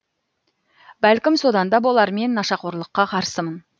бәлкім содан да болар мен нашақорлыққа қарсымын